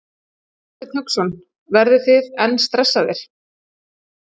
Hafsteinn Hauksson: Verðið þið enn stressaðir?